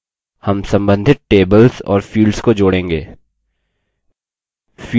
हम सम्बन्धित tables और fields को जोड़ेंगे